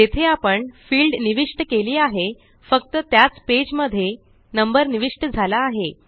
जेथे आपण फिल्ड निविष्ट केली आहे फक्त त्याच पेज मध्ये नंबर निविष्ट झाला आहे